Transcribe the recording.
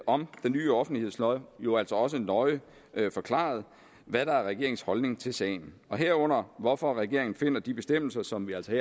om den nye offentlighedslov jo altså også nøje forklaret hvad der er regeringens holdning til sagen herunder hvorfor regeringen finder de bestemmelser som vi altså